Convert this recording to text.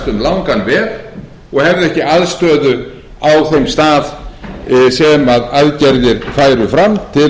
um langan veg og hefðu ekki aðstöðu á þeim stað sem aðgerðir færu fram til að dveljast